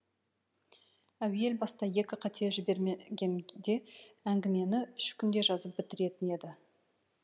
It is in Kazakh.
әуел баста екі қате жібермегенде әңгімені үш күнде жазып бітіретін еді